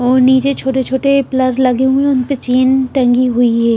और नीचे छोटे-छोटे प्लग लगे हुए हैं उन पे चेन टंगी हुई है।